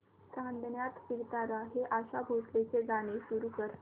चांदण्यात फिरताना हे आशा भोसलेंचे गाणे सुरू कर